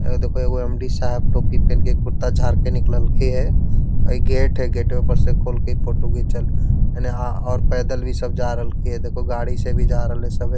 ए देखो एगो एम.डी. साहब टोपी पहन के कुत्ता झार के निकलल थिन हे | अ इ गेट हइ गेटवा पर से खोल के फोटवा घिचल एने और पैदल भी सब जा रहल कई हे देखो गाड़ी से भी जा रहलई हे सभे |